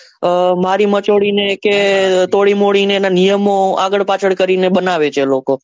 આહ મારી માંચોડી ને કે તોડીમોડી ને એના નિયમો આગળ પાછળ કરી ને બનાવે છે લોકો.